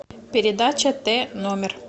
передача тномер